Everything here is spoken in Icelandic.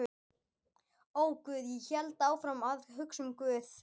Og guð, ég hélt áfram að hugsa um guð.